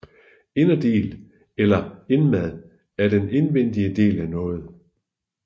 Inderdel eller indmad er den indvendige del af noget